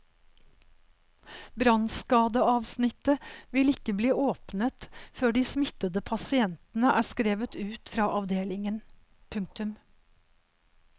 Brannskadeavsnittet vil ikke bli åpnet før de smittede pasientene er skrevet ut fra avdelingen. punktum